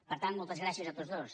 per tant moltes gràcies a tots dos